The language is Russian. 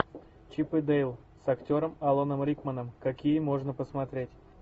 чип и дейл с актером аланом рикманом какие можно посмотреть